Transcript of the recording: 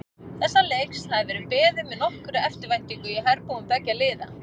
Þessa leiks hafði verið beðið með nokkurri eftirvæntingu í herbúðum beggja liða.